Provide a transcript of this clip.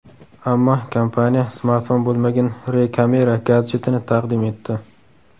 Ammo kompaniya smartfon bo‘lmagan Re Camera gadjetini taqdim etdi.